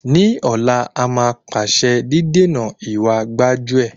Ní ọ̀la, a máa pàṣẹ dídènà ìwa gbájú-ẹ̀.